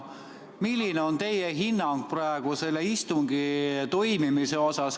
Milline on teie hinnang selle istungi toimumisele?